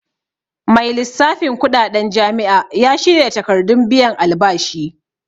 Mai lissafin kuɗaɗen jami'a ya shirya takardun biyan albashi